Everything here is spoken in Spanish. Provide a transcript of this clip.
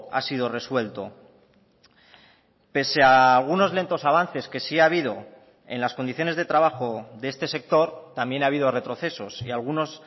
ha sido resuelto pese a algunos lentos avances que sí ha habido en las condiciones de trabajo de este sector también ha habido retrocesos y algunos